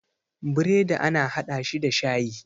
bredi ana hada shi da shayi